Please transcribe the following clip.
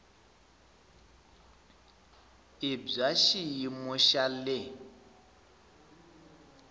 i bya xiyimo xa le